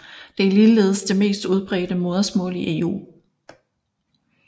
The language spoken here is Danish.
Det er ligeledes det mest udbredte modersmål i EU